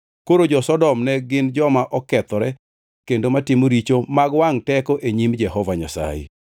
Koro jo-Sodom ne gin joma okethore kendo matimo richo mag wangʼ teko e nyim Jehova Nyasaye.